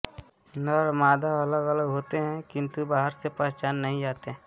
नर मादा अलग अलग होते हैं किंतु बाहर से पहचान में नहीं आते